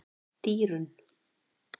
Dýrunn